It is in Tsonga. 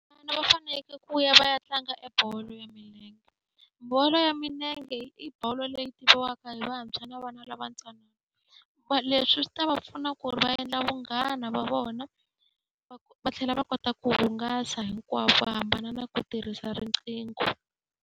va fanekele ku ya va ya tlanga e bolo ya milenge. Bolo ya milenge i bolo leyi tiviwaka hi vantshwa na vana lava ntsanana. Leswi swi ta va pfuna ku ri va endla vunghana va vona va va tlhela va kota ku hungasa hinkwavo va hambana na ku tirhisa riqingho.